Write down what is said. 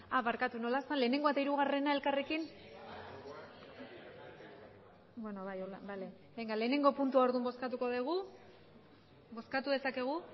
barkatu nola zen batgarrena eta hirugarrena elkarrekin beno bai horrela bale batgarrena puntua orduan bozkatuko dugu bozkatu dezakegu